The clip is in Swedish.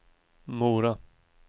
Mora